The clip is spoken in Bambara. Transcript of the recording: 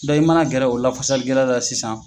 i mana gɛrɛ o la fasali kɛla la sisan.